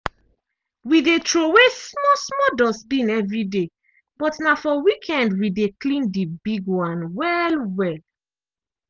we dey throway small -small dustbin evri day but na for weekend we dey clean di big one well-well.